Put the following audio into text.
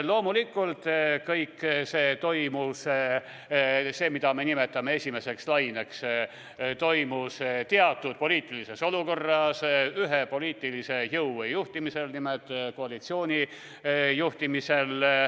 Loomulikult kõik see, mida me nimetame esimeseks laineks, toimus teatud poliitilises olukorras ja ühe poliitilise jõu, nimelt koalitsiooni juhtimisel.